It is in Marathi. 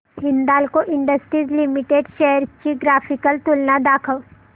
हिंदाल्को इंडस्ट्रीज लिमिटेड शेअर्स ची ग्राफिकल तुलना दाखव